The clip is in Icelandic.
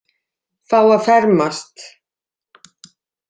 Fá að fermast.